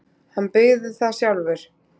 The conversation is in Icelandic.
Hann byggði það sjálfur.